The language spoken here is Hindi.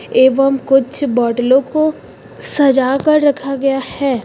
एवं कुछ बाटलो को सजा कर रखा गया है।